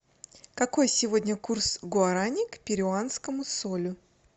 какой сегодня курс гуарани к перуанскому солю